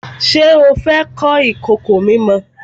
Ṣé o fẹ́ kọ́ ìkòkò mímọ?